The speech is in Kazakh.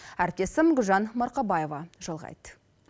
әріптесім гүлжан марқабаева жалғайды